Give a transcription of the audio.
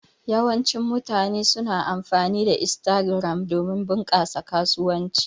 Yawancin mutane suna amfani da Instagram domin bunƙasa kasuwanci.